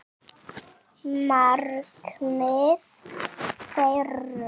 Markmið þeirra.